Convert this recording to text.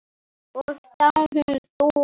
Og þá hún þú.